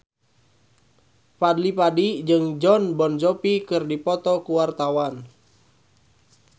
Fadly Padi jeung Jon Bon Jovi keur dipoto ku wartawan